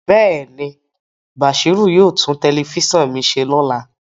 Bẹẹni, Bashiru yoo tun telifisan mi se lola